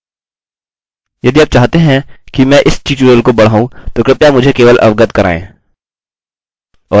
यदि आप चाहते हैं कि मैं इस ट्यूटोरियल को बढ़ाऊँ तो कृपया मुझे केवल अवगत कराएँ